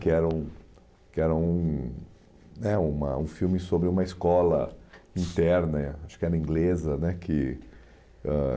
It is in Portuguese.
Que era um que era um né uma um filme sobre uma escola interna, acho que era inglesa, né? Que ãh